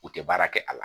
U tɛ baara kɛ a la